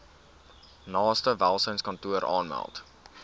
naaste welsynskantoor aanmeld